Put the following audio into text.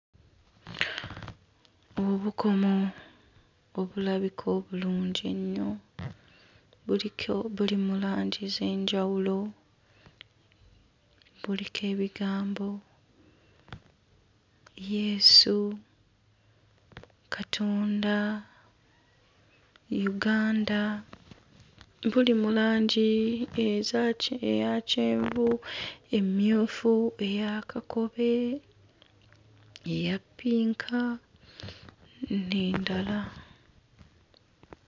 Obukomo obulabika obulungi ennyo buliko buli mu langi z'enjawulo. Buliko ebigambo Yesu, Katonda, Uganda. Buli mu langi ezaaki eya kyenvu, emmyufu, eya kakobe eya ppinka n'endala.